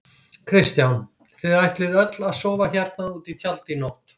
Kristján: Þið ætlið öll að sofa hérna úti í tjaldi í nótt?